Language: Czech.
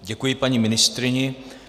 Děkuji paní ministryni.